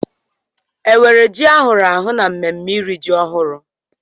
Enwere ji ahụrụ ahụ n'ememme iri ji ọhụrụ?